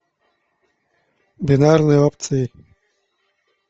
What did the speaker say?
бинарные опции